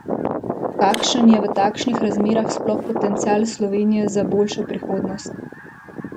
Kakšen je v takšnih razmerah sploh potencial Slovenije za boljšo prihodnost?